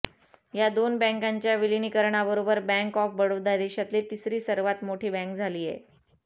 या दोन बँकांच्या विलीनीकरणाबरोबर बँक आॅफ बडोदा देशातली तिसरी सर्वात मोठी बँक झालीय